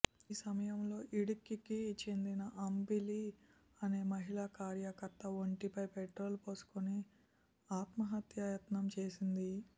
ఈ సమయంలో ఇడుక్కికి చెందిన అంబిలి అనే మహిళా కార్యకర్త ఒంటిపై పెట్రోలు పోసుకుని ఆత్మహత్యాయత్నం చేసింది